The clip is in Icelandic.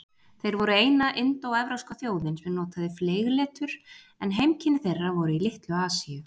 Þeir voru eina indóevrópska þjóðin sem notaði fleygletur, en heimkynni þeirra voru í Litlu-Asíu.